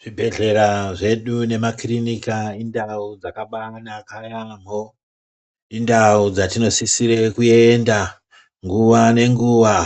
Zvibhedhlera zvedu nemakirinika indau dzakabaanaka yamho. Indau dzatinosisire kuenda nguwa ngenguwa